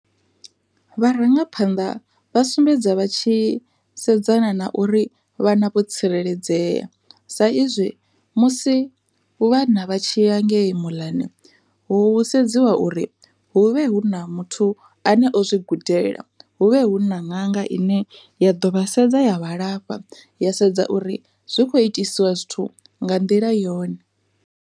Vharangaphanḓa vha sumbedza vha tshi sedzana na uri vhana vho tsireledzea, sa izwi musi vhana vha tshi ya ngei muḽani hu sedziwa uri hu vhe hu na muthu ane o zwi gudela, hu vhe hu na ṅanga ine ya ḓo vha sedza yavha lafha ya sedza uri zwi kho itisiwa zwithu nga nḓila yone.